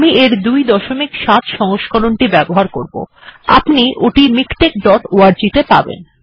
এর ২৭ সংস্করণ টি আপনি মিকটেক্স ডট অর্গ তে পাবেন